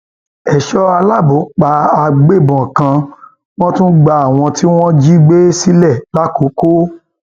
èso aláàbò pa àgbébọn kan wọn tún gba àwọn tí wọn jí gbé sílẹ làkòkò